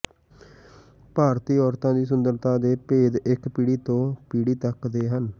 ਭਾਰਤੀ ਔਰਤਾਂ ਦੀ ਸੁੰਦਰਤਾ ਦੇ ਭੇਦ ਇਕ ਪੀੜ੍ਹੀ ਤੋਂ ਪੀੜ੍ਹੀ ਤੱਕ ਦੇ ਹਨ